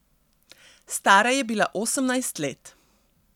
Stara je bila osemnajst let.